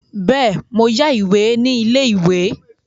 Bẹ́ẹ̀ mo yá ìwé ní ilé-ìwé.